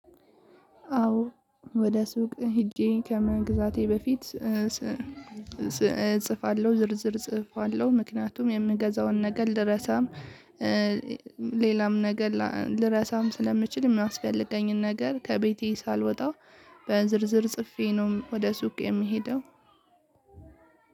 አዎ ወደ ሱቅ ሄጄ ከመግዛቴ በፊት እጽፋለሁ ዝርዝር እጽፋለሁ ምክንያቱም የምገዛውን ነገር ልረሳም። ሌላም ነገር ልረሳም ስለምችል የሚያስፈልገኝን ነገር ከቤቴ ሳልወጣ። በዝርዝር ጽፌ ነው ወደ ሱቅ የሚሄደው።